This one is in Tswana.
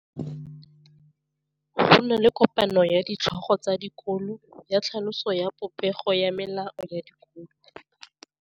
Go na le kopanô ya ditlhogo tsa dikolo ya tlhaloso ya popêgô ya melao ya dikolo.